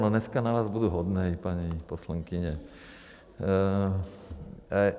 No dneska na vás budu hodnej, paní poslankyně.